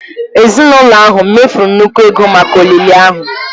Ezinụlọ ahụ mefuru nnukwu ego maka olili ahụ.